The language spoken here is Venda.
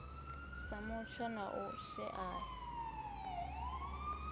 sa mutsho na u shaea